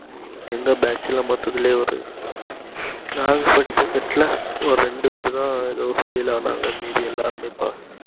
எங்க batch ல மொத்தத்துலே ஒரு நாங்க படிச்ச set ல ஒரு இரண்டு பேருதா எதோ fail ஆனாங்க மீதிஎல்லாருமே pass